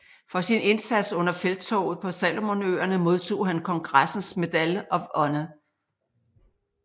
For sin indsats under Felttoget på Salomonøerne modtog han kongressens Medal of Honor